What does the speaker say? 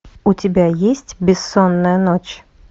у тебя есть бессонная ночь